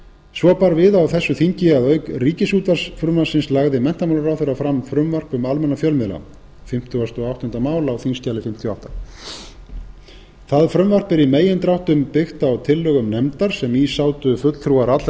svo bar við á þessu þingi að auk ríkisútvarpsfrumvarpsins lagði menntamálaráðherra fram frumvarp um almenna fjölmiðla það frumvarp er í megindráttum byggt á tillögum nefndar sem í sátu fulltrúar allra